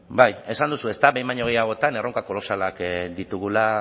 bai esan duzu behin baino gehiagotan erronka kolosalak ditugula